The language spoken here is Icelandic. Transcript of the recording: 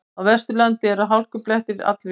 Á Vesturlandi eru hálkublettir all víða